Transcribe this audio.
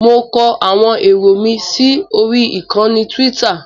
Mo kọ àwọn èrò mi sí orí ìkànnì Tíwítà.